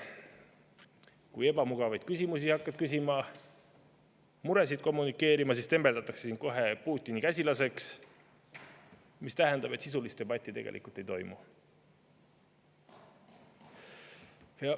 Kui ebamugavaid küsimusi hakkad küsima, muresid kommunikeerima, siis tembeldatakse sind kohe Putini käsilaseks, mis tähendab, et sisulist debatti tegelikult ei toimu.